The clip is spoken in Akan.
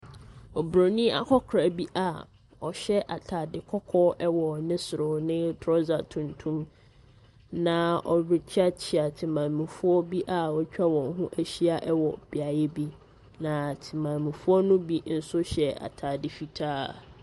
Oburoni akwakora a ɔhyɛ ataade kɔkɔɔ wɔ ne soro ne trɔsa tuntum na ɔrekyeɛkyeɛ temammufoɔ bi a wɔatwa wɔn ho ahyia wɔ beaeɛ bi. Na temammufoɔ no bi hyɛ ataade fitaa.